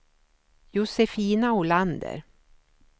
Josefina Olander